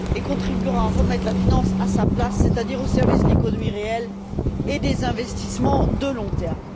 elle contribuera à remettre la finance à sa place, c'est à dire au service de l'économie réelle et des investissements à long terme.